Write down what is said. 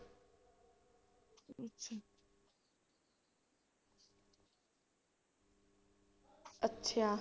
ਅੱਛਾ।